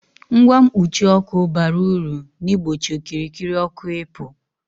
Ngwa mkpuchi ọkụ bara ulu n'igbochi okirikiri ọkụ ị pu